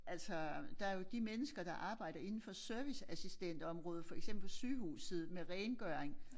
Altså der jo de mennesker der arbejder indenfor serviceassistentområdet for eksempel sygehuset med rengøring